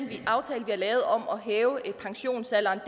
vi har lavet om at hæve pensionsalderen